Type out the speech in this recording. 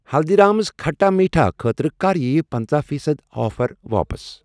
ہلدیٖرامز کھٹا میٖٹھا خٲطرٕ کَر یِیہِ پنژہَ فی صد آفر واپس؟